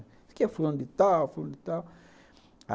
Isso aqui é fulano de tal, fulano de tal.